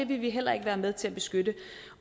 vil vi heller ikke være med til at beskytte